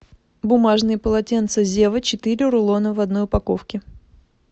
бумажные полотенца зева четыре рулона в одной упаковке